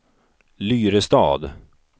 Lyrestad